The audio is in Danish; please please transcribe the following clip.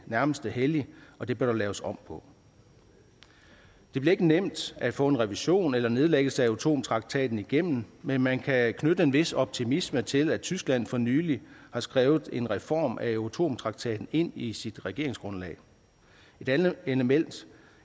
nærmest er hellig og det bør der laves om på det bliver ikke nemt at få en revision eller nedlæggelse af euratom traktaten igennem men man kan knytte en vis optimisme til at tyskland for nylig har skrevet en reform af euratom traktaten ind i sit regeringsgrundlag et andet element